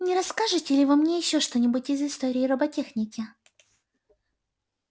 не расскажете ли вы мне ещё что-нибудь из истории роботехники